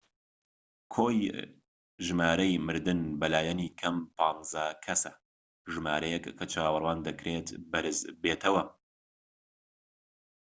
کۆی ژمارەی مردن بە لایەنی کەم 15 کەسە ژمارەیەک کە چاوەڕوان دەکرێت بەرز بێتەوە